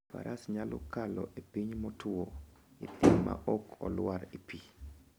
Faras nyalo kalo e piny motuwo e thim maok olwar e pi.